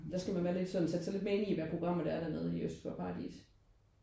Der skal man være lidt sådan sætte sig lidt mere ind i hvad programmet dernede i Øst for Paradis